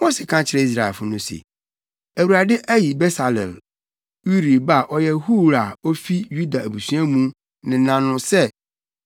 Mose ka kyerɛɛ Israelfo no se, “ Awurade ayi Besaleel, Uri ba a ɔyɛ Hur a ofi Yuda abusua mu nena